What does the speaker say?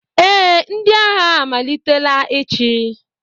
Ee, ndị agha amalitela ịchị.